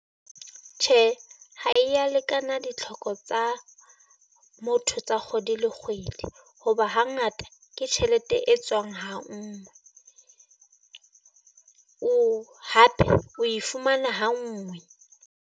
Tjhe, ha e ya lekana ditlhoko tsa motho tsa kgwedi le kgwedi, hoba hangata ke tjhelete e tswang ha ngwe. Hape oe fumana ha ngwe.